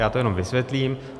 Já to jenom vysvětlím.